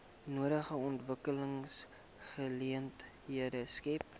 nodige ontwikkelingsgeleenthede skep